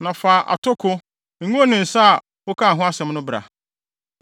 “Fa atoko, ngo ne nsa a wokaa ho asɛm no bra.